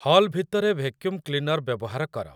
hall ଭିତରେ vacuum cleaner ବ୍ୟବହାର କର